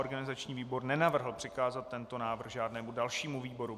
Organizační výbor nenavrhl přikázat tento návrh žádnému dalšímu výboru.